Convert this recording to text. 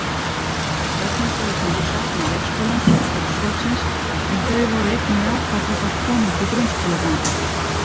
Börnin sögðust myndu sakna leikskólans og starfsfólksins en þau voru einnig jákvæð gagnvart komandi grunnskólagöngu.